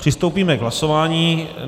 Přistoupíme k hlasování.